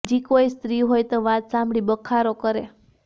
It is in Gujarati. બીજી કોઈ સ્ત્રી હોય તો વાત સાંભળી બખારો કરે